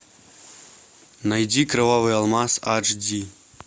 найди кровавый алмаз аш ди